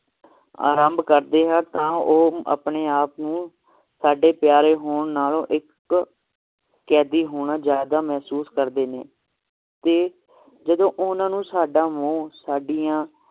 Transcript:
ਆਰੰਭ ਕਰਦੇ ਹੈ ਤਾ ਉਹ ਆਪਣੇ ਆਪ ਨੂੰ ਸਾਡੇ ਪਯਾਰੇ ਹੋਣ ਨਾਲੋਂ ਸਾਡੇ ਕੈਦੀ ਹੋਣਾ ਜ਼ਯਾਦਾ ਮਹਿਸੂਸ ਕਰਦੇ ਹਨ ਤੇ ਜਦੋ ਓਹਨਾ ਨੂੰ ਸਦਾ ਮੋਹ ਸਾਡੀਆਂ